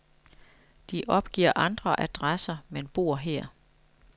De opgiver andre adresser, men bor her.